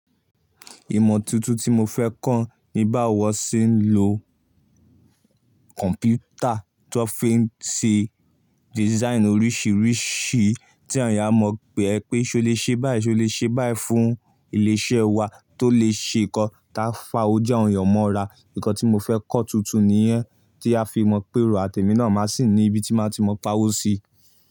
Ìmọ̀ tuntun tí mo fẹ́ kọ́ ni báwo ṣe ń lo kọ̀mpútà tó fi ń ṣe design oríṣìíríṣìí tí awon èeyàn a mọ̀ pé ẹ pé ṣe o lè ṣe báyìí, ṣe o lè ṣe báyìí fún ilé iṣẹ́ wa tó lè ṣe nǹkan táa fa ojú àwọn ènìyàn mọ́ra. Nǹkan tí mo fẹ́ kọ́ tuntun nìyẹn tí a fi mọ̀ pé èrò àtẹ́mí náà máa sì ní ibi tí máa ti mọ̀ páwọ́ sí.